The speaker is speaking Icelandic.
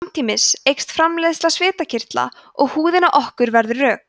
samtímis eykst framleiðni svitakirtla og húðin á okkur verður rök